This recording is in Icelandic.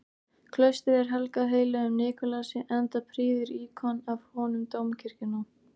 Klaustrið er helgað heilögum Nikulási, enda prýðir íkon af honum dómkirkjuna.